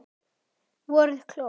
Voruð klók.